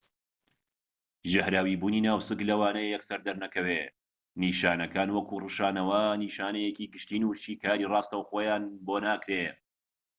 ژەهراویبوونی ناوسک لەوانەیە یەکسەر دەرنەکەوێت نیشانەکان وەکو ڕشانەوە نیشانەیەکی گشتین و شیکاریی راستەوخۆیان بۆ ناکرێت